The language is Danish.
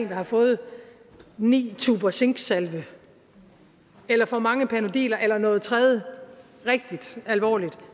har fået ni tuber zinksalve eller for mange panodiler eller noget tredje rigtig alvorligt